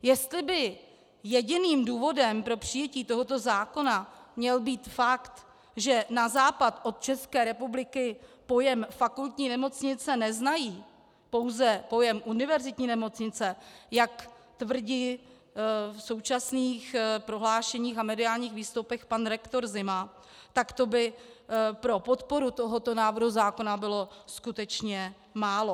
Jestli by jediným důvodem pro přijetí tohoto zákona měl být fakt, že na západ od České republiky pojem fakultní nemocnice neznají, pouze pojem univerzitní nemocnice, jak tvrdí v současných prohlášeních a mediálních výstupech pan rektor Zima, tak to by pro podporu tohoto návrhu zákona bylo skutečně málo.